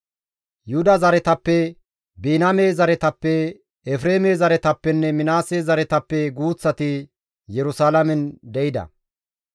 Yuhuda zaretappe, Biniyaame zaretappe, Efreeme zaretappenne Minaase zaretappe guuththati Yerusalaamen de7ida.